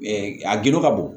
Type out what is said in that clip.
a gindo ka bon